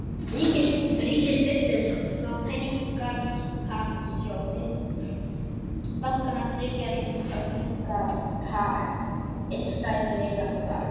Ríkið styrkti þó peningamarkaðssjóði bankanna þriggja til að minnka tap innstæðueigenda þar.